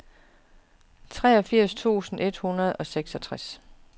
treogfirs tusind et hundrede og seksogtres